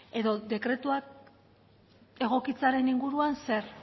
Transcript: edo dekretuak egokitzearen inguruan zer